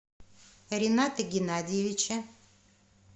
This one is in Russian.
рината геннадьевича